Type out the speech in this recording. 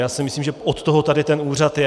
Já si myslím, že od toho tady ten úřad je.